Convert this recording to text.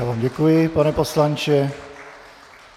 Já vám děkuji, pane poslanče.